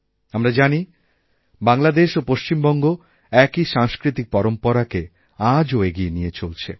আমরা জানি বাংলাদেশ ওপশ্চিমবঙ্গ একই সাংস্কৃতিক পরম্পরাকে আজও এগিয়ে নিয়ে চলছে